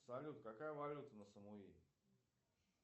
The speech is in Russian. салют какая валюта на самуи